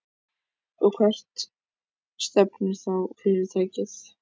Og hvert stefnir þá fyrirtækið?